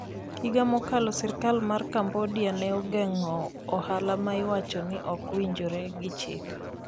Higa mokalo, sirikal mar Cambodia ne ogeng'o ohala ma iwacho ni ok owinjore gi chik.